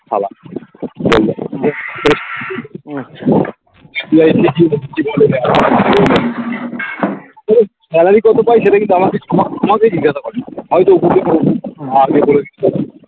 সালা বললো পুরো salary কত পাই সেটা কি আমাকে জিজ্ঞাসা করেনি হয়তো